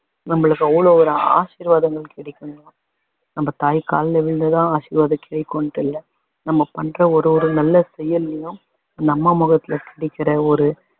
நம்மளுக்கு அவ்வளோ ஒரு ஆசிர்வாதங்கள் கிடைக்கும் நம்ம தாய் கால்ல விழுந்து தான் ஆசிர்வாதம் கிடைக்குன்னு இல்ல நம்ம பண்ற ஒரு ஒரு நல்ல செயல்லையும் அந்த அம்மா முகத்தில கிடைக்கிற ஒரு